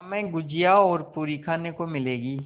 हमें गुझिया और पूरी खाने को मिलेंगी